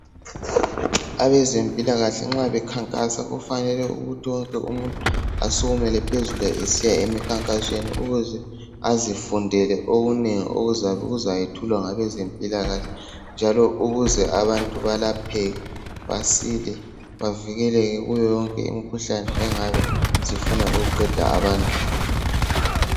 Abezempilakahle nxa bekhankasa kufanele ukuthi wonke umuntu asukumele phezulu esiya emikhankasweni ukuze azifundele okunengi okuzakwethulawa ngabeze mpilakahle. Njalo ukuze abantu belapheke basile bavikeleke kuyo yonke imikhuhlane engabe isifuna ukuqeda abantu.